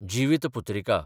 Jivitputrika